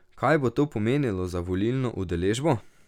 Kaj bo to pomenilo za volilno udeležbo?